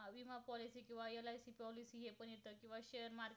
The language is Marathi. व share मार्फत